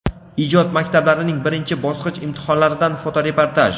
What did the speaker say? Ijod maktablarining birinchi bosqich imtihonlaridan fotoreportaj.